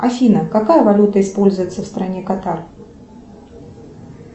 афина какая валюта используется в стране катар